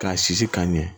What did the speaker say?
K'a sisi k'a ɲɛ